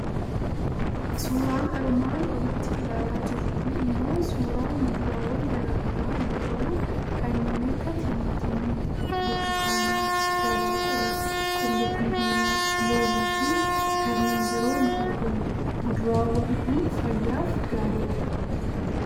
Suuraan armaan olitti ilaalaa jirru kun immoo suuraa muduraawwan garaa garaa yoo ta'u, kanneen akka timaatimii, burtukaanaa, dabaaqulaa, qullubbii diimaa, loomii fi kanneen biroo ni argamu. Muduraawwan kun fayyaaf gaariifha.